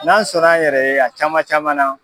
N'an sɔnn'an yɛrɛ ye a caman camanna